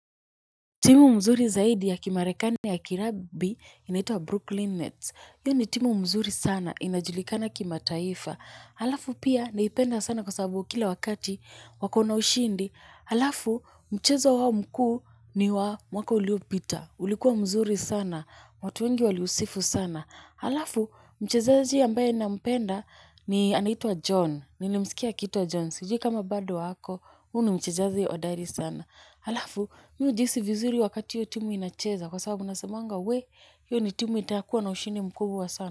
Timu nzuri zaidi ya kimarekani ya kikapu inaitwa Brooklyn Nets. Hiyo ni timu nzuri sana inajulikana kimataifa. Halafu pia naipenda sana kwa sababu kila wakati wako na ushindi. Halafu mchezo wao mkuu ni wa mwaka uliopita. Ulikuwa mzuri sana. Watu wengi waliusifu sana. Halafu mchezaji ambaye ninampenda ni anaitwa John. Nilimsikia akiitwa John. Sijui kama bado ako huyu mchezaji ya hodari sana. Halafu, mimi hujihii vizuri wakati hiyo timu inacheza kwa sababu nasemaga wee, hiyo ni timu itakua na ushindi mkubwa sana.